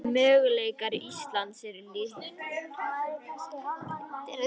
Möguleikar Íslands eru litlir